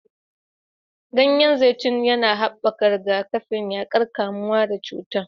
Ganyen zaitun yana haɓaka rigakafi, yaƙar kamuwa da cuta.